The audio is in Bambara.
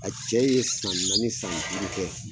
A cɛ ye san naani san duuru kɛ